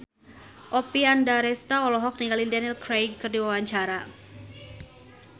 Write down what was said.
Oppie Andaresta olohok ningali Daniel Craig keur diwawancara